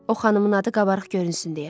O xanımın adı qabarıq görünsün deyə.